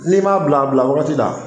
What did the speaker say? N'i m'a bila a bila wagati la